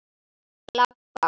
Ég labba.